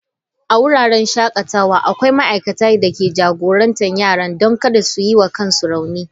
A wuraren shakatawa akwai ma'aikatan da ke jagorantar yaran don kada su yi wa kansu rauni.